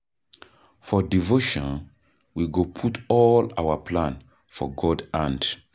For devotion, we go put all our plan for God hand.